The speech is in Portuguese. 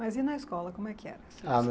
Mas e na escola, como é que era? Ah na